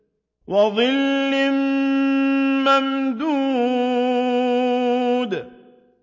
وَظِلٍّ مَّمْدُودٍ